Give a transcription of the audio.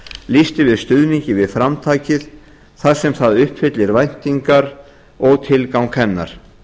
lýst yfir stuðningi við framtakið þar sem það uppfyllir væntingar og tilgang hennar